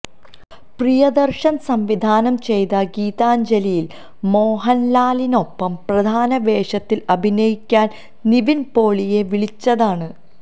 പ്രിയദര്ശന് സംവിധാനം ചെയ്ത ഗീതാഞ്ജലിയില് മോഹന്ലാലിനൊപ്പം പ്രധാന വേഷത്തില് അഭിനയിക്കാന് നിവിന് പോളിയെ വിളിച്ചതാണ്